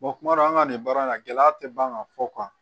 kuma dɔw an ka nin baara in na gɛlɛya tɛ ban ka fɔ